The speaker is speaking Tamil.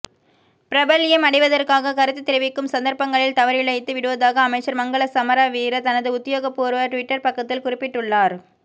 பிரபல்யம் அடைவதற்காக கருத்து தெரிவிக்கும் சந்தரப்பங்களில் தவறிழைத்து விடுவதாக அமைச்சர் மங்கள சமரவீர தனது உத்தியோகபூர்வ டுவிட்டர் பக்கத்தில் குறிப்பிட்டுள்ளார்